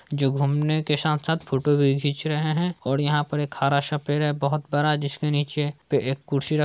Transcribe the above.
जो घुमने के साथ-साथ फोटो भी घींच रहे है और यहाँ पर एक हरा-सा पेड़ है बहुत बड़ा जिसके नीचे अ एक कुर्सी रख--